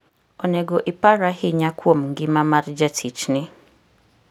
Onego ipar ahinya kuom ngima mar jatichni.